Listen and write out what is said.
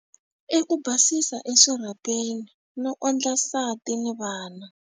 I ku basisa eswirhapeni, no ondla nsati ni vana.